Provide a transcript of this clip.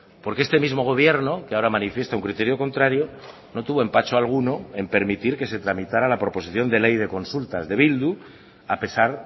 porque este mismo gobierno que ahora manifiesta un criterio contrario no tuvo empacho alguno en permitir que se tramitara la proposición de ley de consultas de bildu a pesar